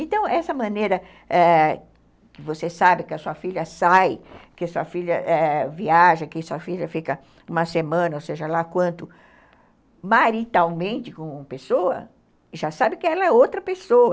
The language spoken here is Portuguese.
Então, essa maneira ãh que você sabe que a sua filha sai, que sua filha viaja, que sua filha fica uma semana, ou seja, lá quanto maritalmente com uma pessoa, já sabe que ela é outra pessoa.